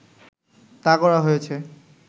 তা করা হয়েছে